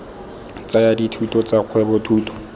tsaya dithuto tsa kgwebo thuto